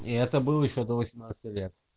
и это был ещё до восемнадцати лет